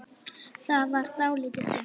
Það varð dálítið þunnt.